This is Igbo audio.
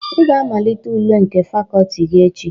"Ị ga-amalite ule nke Fakọlti gị echi"